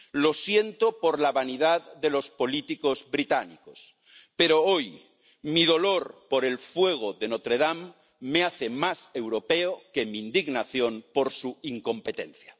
Lo siento por la vanidad de los políticos británicos, pero hoy mi dolor por el fuego de Notre Dame me hace más europeo que mi indignación por su incompetencia.